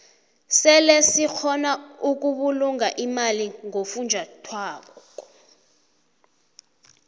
sebe sikgona ukubulunga imali ngofunjathwako